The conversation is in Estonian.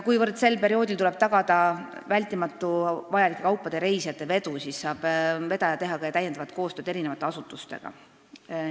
Kuivõrd sel perioodil tuleb tagada vältimatu vajalike kaupade ja reisijate vedu, siis saab vedaja teha koostööd teiste asutustega.